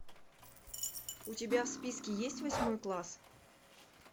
у тебя в списке есть восьмой класс